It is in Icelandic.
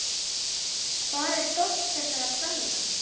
Hvar er stolt þessara kvenna?